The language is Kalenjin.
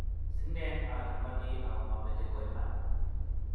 Sinen achamani ako mameche ko iman